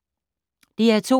DR2